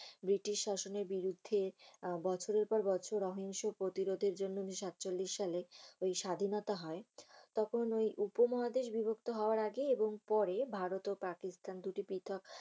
British শাসনের বিরুদ্ধে আহ বছরের পর বছর সহিংস প্রতিরোধের জন্য উনিশ সাতচল্লিশ সালে ঐ স্বাধীনতা হয়। তখন ঐ উপমহাদেশে বিবক্ত হওয়ার আগে এবং পরে ভারত এবং পাকিস্থান দুটি পৃথক